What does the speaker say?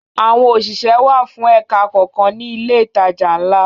Àwọn òṣìṣẹ́ wà fún ẹ̀ka kọ̀ọ̀kan nínú ilé ìtajà ńlá